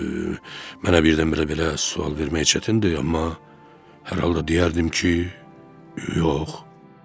Mənə birdən-birə belə sual vermək çətindir, amma hər halda deyərdim ki, yox.